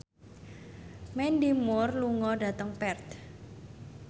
Mandy Moore lunga dhateng Perth